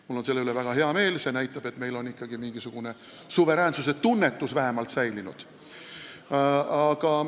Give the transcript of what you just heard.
Mul on selle üle väga hea meel – see näitab, et meil on vähemalt mingisugune suveräänsuse tunnetus säilinud.